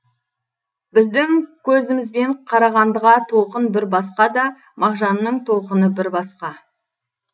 біздің көзімізбен қарағандыға толқын бір басқа да мағжанның толқыны бір басқа